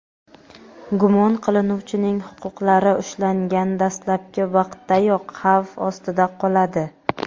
gumon qilinuvchining huquqlari ushlangan dastlabki vaqtdayoq xavf ostida qoladi.